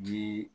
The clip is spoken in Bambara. Jii